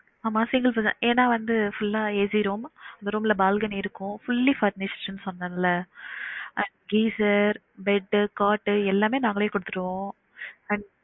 ஆமா single ஏன்னா வந்து full அ AC room அந்த room ல balcony இருக்கும் fully furnished னு சொன்னேல அஹ் fresher, bed, cot எல்லாமே நாங்களே குடுத்துருவோம் and